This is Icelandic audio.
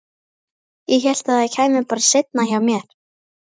Ég hélt að það kæmi bara seinna hjá mér.